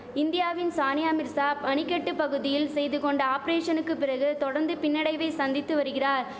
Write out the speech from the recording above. இந்தியாவின் சானியா மிர்சா மணிகட்டு பகுதியில் செய்து கொண்ட ஆபரேஷனுக்கு பிறகு தொடர்ந்து பின்னடைவை சந்தித்து வரிகிறார்